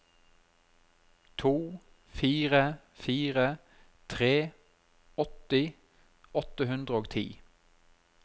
to fire fire tre åtti åtte hundre og ti